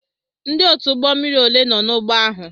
Ndị otu ụgbọ mmiri ole nọ n'ụgbọ ahụ?